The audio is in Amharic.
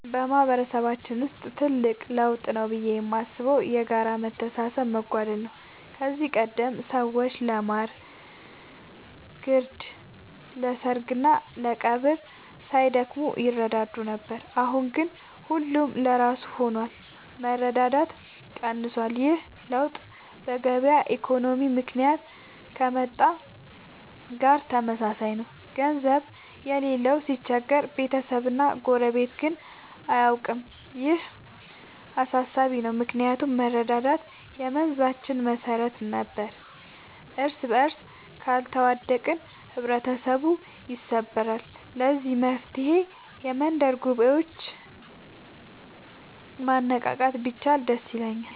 በማህበረሰባችን ውስጥ ትልቅ ለውጥ ብዬ የማስበው የጋራ መተሳሰብ መጓደል ነው። ከዚህ ቀደም ሰዎች ለማር ግርድ፣ ለሰርግና ለቀብር ሳይደክሙ ይረዳዱ ነበር። አሁን ግን ሁሉም ለራሱ ሆኗል፤ መረዳዳት ቀንሷል። ይህ ለውጥ በገበያ ኢኮኖሚ ምክንያት ከመጣ ጋር ተመሳሳይ ነው፤ ገንዘብ የሌለው ሲቸገር ቤተሰብና ጎረቤት ግን አያውቀውም። ይህ አሳሳቢ ነው ምክንያቱም መረዳዳት የመንዛችን መሰረት ነበር። እርስበርስ ካልተዋደቅን ህብረተሰቡ ይሰበራል። ለዚህ መፍትሔ የመንደር ጉባኤዎችን ማነቃቃት ቢቻል ደስ ይለኛል።